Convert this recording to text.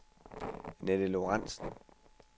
Annette Lorentsen